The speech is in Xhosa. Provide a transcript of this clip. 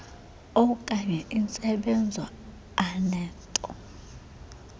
opkanye intsebenzo anento